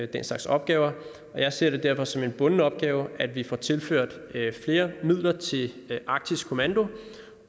den slags opgaver og jeg ser det derfor som en bunden opgave at vi får tilført flere midler til arktisk kommando